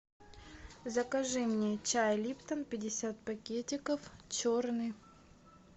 закажи мне чай липтон пятьдесят пакетиков черный